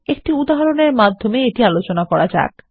একটি উদাহরনেরমাধ্যমে আলোচনা শুরু করা যাক